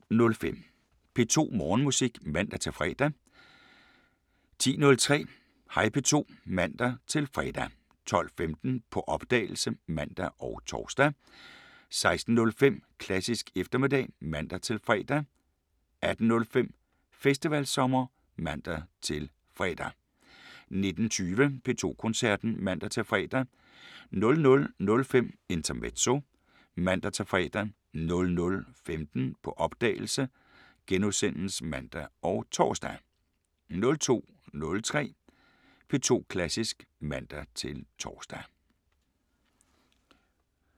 07:05: P2 Morgenmusik (man-fre) 10:03: Hej P2 (man-fre) 12:15: På opdagelse (man og tor) 16:05: Klassisk eftermiddag (man-fre) 18:05: Festivalsommer (man-fre) 19:20: P2 Koncerten (man-fre) 00:05: Intermezzo (man-fre) 00:15: På opdagelse *(man og tor) 02:03: P2 Klassisk (man-tor)